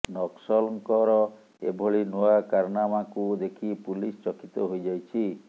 ନକ୍ସଲଙ୍କର ଏଭଳି ନୂଆ କାରନାମାକୁ ଦେଖି ପୁଲିସ ଚକିତ ହୋଇଯାଇଛି